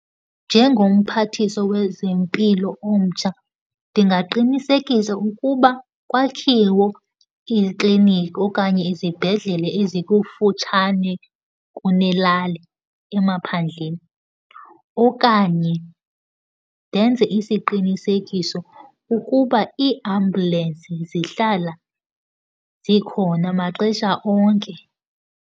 Njengomphathiswa wezempilo omtsha ndingaqinisekisa ukuba kwakhiwe iikliniki okanye izibhedlela ezikufutshane kunelali, emaphandleni. Okanye ndenze isiqinisekiso ukuba iiambulensi zihlala zikhona maxesha onke.